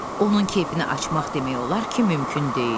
Onun keyfini açmaq demək olar ki, mümkün deyildi.